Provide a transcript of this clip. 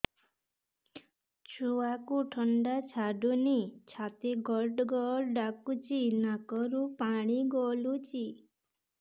ଛୁଆକୁ ଥଣ୍ଡା ଛାଡୁନି ଛାତି ଗଡ୍ ଗଡ୍ ଡାକୁଚି ନାକରୁ ପାଣି ଗଳୁଚି